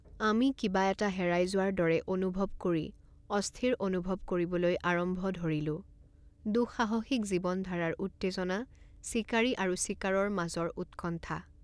আমি কিবা এটা হেৰাই যোৱাৰ দৰে অনুভৱ কৰি অস্থিৰ অনুভৱ কৰিবলৈ আৰম্ভ ধৰিলোঁ দুঃসাহসিক জীৱনধাৰাৰ উত্তেজনা চিকাৰী আৰু চিকাৰৰ মাজৰ উৎকণ্ঠা